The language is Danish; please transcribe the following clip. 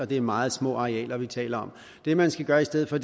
og det er meget små arealer vi taler om det man skal gøre i stedet for